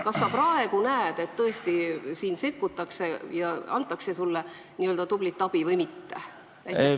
Kas sa praegu näed, et tõesti sekkutakse ja antakse sulle tublisti abi või mitte?